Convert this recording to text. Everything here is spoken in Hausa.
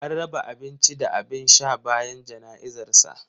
An raba abinci da abin sha bayan jana'izar sa.